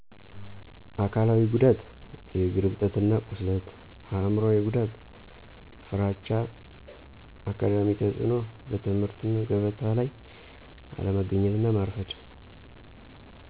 አካላዊ ጉዳት:- የእግር እብጠት እና ቁስለት አይምሮአዊ ጉዳት:- ፍራቻ አካዳሚ ተፅእኖ:- በትምህርተ ገበታ ላይ አለመገኘት እና ማርፈድ